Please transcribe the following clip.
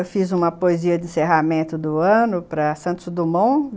Eu fiz uma poesia de encerramento do ano para Santos Dumont.